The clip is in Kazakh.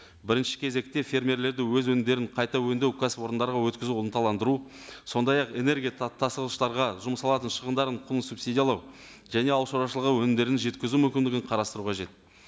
бірінші кезекте фермерлерді өз өңімдерін қайта өңдеу кәсіпорындарға өткізу ынталандыру сондай ақ энергия тасығыштарға жұмсалатын шығымдарының құнын субсидиялау және ауыл шаруашылығы өнімдерін жеткізу мүмкіндігін қарастыру қажет